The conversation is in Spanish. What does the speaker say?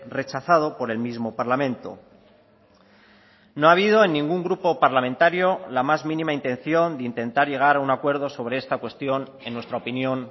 rechazado por el mismo parlamento no ha habido en ningún grupo parlamentario la más mínima intención de intentar llegar a un acuerdo sobre esta cuestión en nuestra opinión